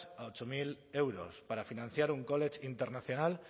a ocho mil euros para financiar un college international